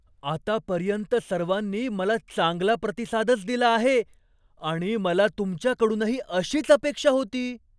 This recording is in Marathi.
आतापर्यंत सर्वांनी मला चांगला प्रतिसादच दिला आहे आणि मला तुमच्याकडूनही अशीच अपेक्षा होती.